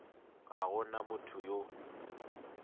ga go na motho yo